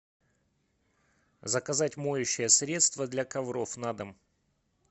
заказать моющее средство для ковров на дом